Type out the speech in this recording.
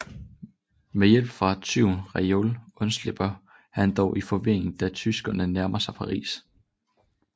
Med hjælp fra tyven Raoul undslipper han dog i forvirringen da tyskerne nærmer sig Paris